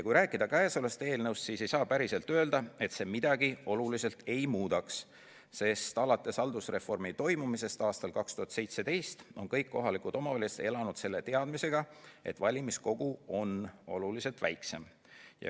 Kui rääkida käesolevast eelnõust, siis ei saa päriselt öelda, et see midagi oluliselt ei muudaks, sest alates haldusreformi toimumisest 2017. aastal on kõik kohalikud omavalitsused elanud selle teadmisega, et valimiskogu on oluliselt väiksem.